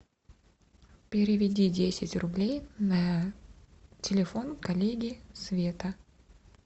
переведи десять рублей на телефон коллеги света